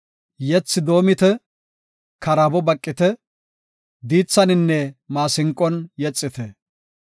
Yethi doomite; karaabo baqite; diithaninne maasinqon yexite.